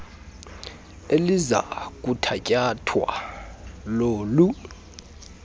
eliza kuthatyathwa lolu